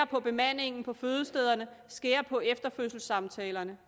på bemandingen på fødestederne skære ned på efterfødselssamtalerne